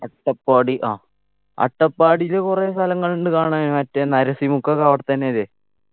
അട്ടപ്പാടി ആ അട്ടപ്പാടിയില് കൊറേ സ്ഥലങ്ങള്ണ്ട് കാണാൻ മറ്റെ നരസിംഹക്കൊക്കെ അവിടെത്തന്നെയല്ലേ